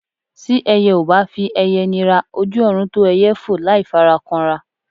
Tí ẹyẹ ò bá fi ẹyẹ nira, ojú ọ̀run tó ẹyẹ fò láì fara kanra.